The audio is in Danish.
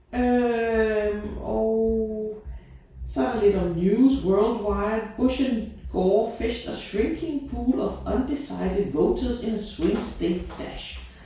Øh og så er der lidt om news worldwide. Bush and Gore fish are shrinking pool of undecided voters in a swing state dash